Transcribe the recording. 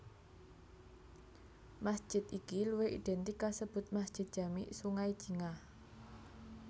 Masjid iki luwih identik kasebut Masjid Jami Sungai Jingah